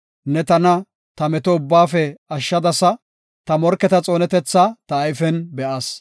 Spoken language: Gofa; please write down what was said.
Ne tana, ta meto ubbaafe ashshadasa; ta morketa xoonetethaa ta ayfen be7as.